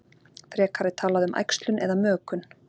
Frekar er talað um æxlun eða mökun.